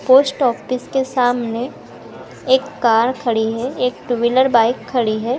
Post office के सामने एक कार खड़ी है एक टू व्हीलर बाइक खड़ी है।